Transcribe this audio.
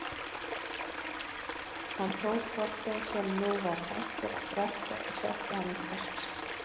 Hann tók hvolpinn sem nú var hættur að drekka og setti hann í kassann sinn.